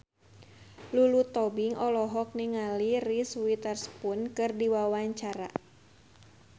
Lulu Tobing olohok ningali Reese Witherspoon keur diwawancara